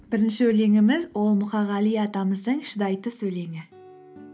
бірінші өлеңіміз ол мұқағали атамыздың шыдай түс өлеңі